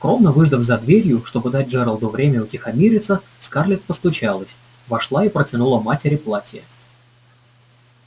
скромно выждав за дверью чтобы дать джералду время утихомириться скарлетт постучалась вошла и протянула матери платье